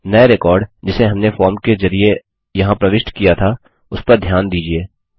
नये रिकॉर्ड जिसे हमने फॉर्म के जरिये यहाँ प्रविष्ट किया था उसपर ध्यान दीजिये